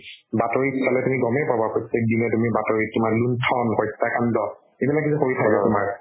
বাতৰিত চালে তুমি গমে পাবা প্ৰত্যেক দিনে তুমি বাতৰিত তোমাৰ লুণ্ঠন, হত্যাকাণ্ড এইবিলাকে যে কৰি থাকে তোমাৰ